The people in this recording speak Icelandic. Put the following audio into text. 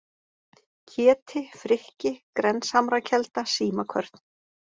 Keti, Frikki, Grenshamrakelda, Símakvörn